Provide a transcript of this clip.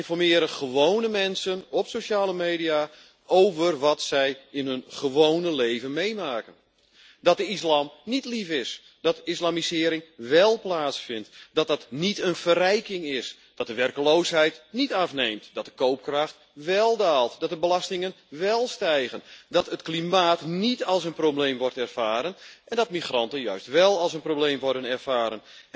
Daarom geven gewone mensen op sociale media informatie over wat zij in hun gewone leven meemaken dat de islam níet lief is, dat islamisering wél plaatsvindt, dat dat geen verrijking is, dat de werkloosheid níet afneemt, dat de koopkracht wél daalt, dat de belastingen wél stijgen, dat het klimaat níet als een probleem wordt ervaren en dat migranten juist wél als een probleem worden ervaren.